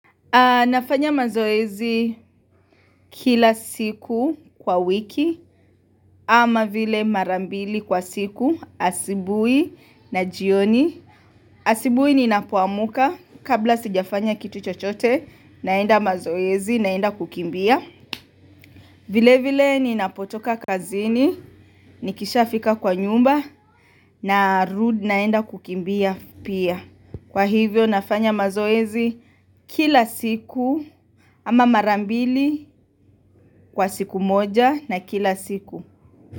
Nafanya mazoezi kila siku kwa wiki ama vile mara mbili kwa siku asubuhi na jioni asubuhi ninapoamka kabla sijafanya kitu chochote naenda mazoezi naenda kukimbia vile vile ni napotoka kazini nikishafika kwa nyumba na rudi naenda kukimbia pia. Kwa hivyo nafanya mazoezi kila siku ama mara mbili kwa siku moja na kila siku.